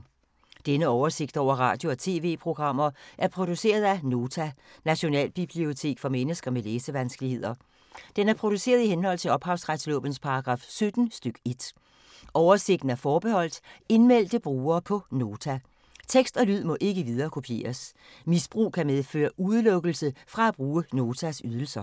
Denne oversigt over radio og TV-programmer er produceret af Nota, Nationalbibliotek for mennesker med læsevanskeligheder. Den er produceret i henhold til ophavsretslovens paragraf 17 stk. 1. Oversigten er forbeholdt indmeldte brugere på Nota. Tekst og lyd må ikke viderekopieres. Misbrug kan medføre udelukkelse fra at bruge Notas ydelser.